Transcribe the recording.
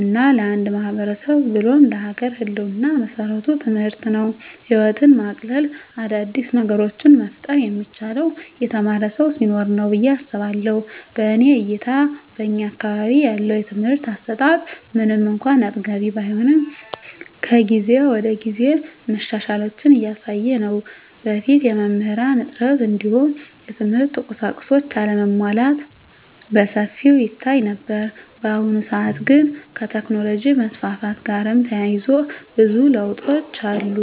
እና ለአንድ ማህበረሰብ ብሎም ለሀገር ህልወና መሰረቱ ትምህርት ነው። ህይወትን ማቅለል : አዳዲስ ነገሮችን መፍጠር የሚቻለው የተማረ ሰው ሲኖር ነው ብየ አስባለሁ። በእኔ እይታ በእኛ አካባቢ ያለው የትምህርት አሰጣት ምንም እንኳን አጥጋቢ ባይሆንም ከጊዜ ወደጊዜ መሻሻሎችን እያሳየ ነው። በፊት የመምህራን እጥረት እንዲሁም የትምህርት ቁሳቁሶች አለመሟላት በሰፊው ይታይ ነበር። በአሁኑ ሰአት ግን ከቴክኖሎጅ መስፋፋት ጋርም ተያይዞ ብዙ ለውጦች አሉ።